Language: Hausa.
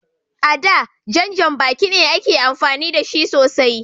A da, jan janbaki ne ake amfani da shi sosai.